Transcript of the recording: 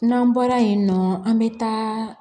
N'an bɔra yen nɔ an bɛ taa